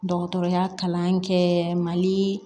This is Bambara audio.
Dɔgɔtɔrɔya kalan kɛ mali